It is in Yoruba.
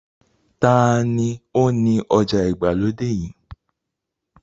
Ta ni ó ni ọjà ìgbàlódé yìí?